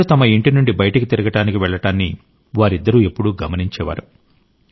ప్రజలు తమ ఇంటి నుండి బయటికి తిరగడానికి వెళ్లడాన్ని వారిద్దరూ ఎప్పుడూ గమనించేవారు